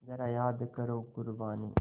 ज़रा याद करो क़ुरबानी